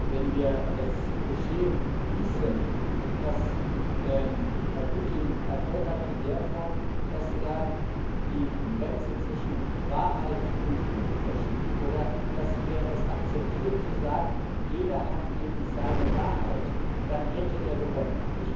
Wenn wir es geschehen ließen, dass Herr Putin Erfolg hat in der Form, dass er die Grenze zwischen Wahrheit und Lüge verschiebt, oder, dass wir es akzeptieren, dass, jeder eben seine Wahrheit hat, dann hätte er gewonnen.